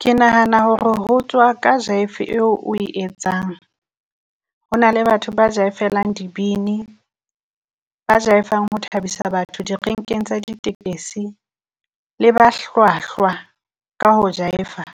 Ke nahana hore ho tswa ka Jaife eo o e etsang, ho na le batho ba jaifelang dibini, ba Jaifang ho thabisa batho direnkeng tsa di tekesi, le ba hlwahlwa ka ho Jaifa.